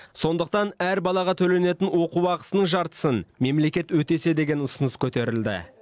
сондықтан әр балаға төленетін оқу ақысының жартысын мемлекет өтесе деген ұсыныс көтерілді